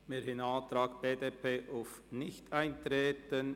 Wir haben einen Antrag BDP auf Nichteintreten.